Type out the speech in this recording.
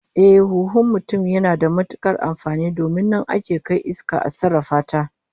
Ehh, lallai huhun mutum yana da matukar amfani domin nan ake kai iska a sarrafa ta